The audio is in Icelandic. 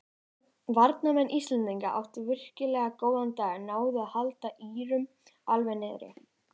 Varnarmenn Íslendinga áttu virkilega góðan dag náðu að halda Írum alveg niðri.